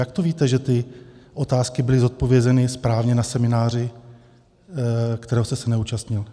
Jak to víte, že ty otázky byly zodpovězeny správně na semináři, kterého jste se neúčastnil?